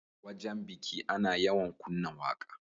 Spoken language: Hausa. Wajan biki Ana yawan kunna waƙa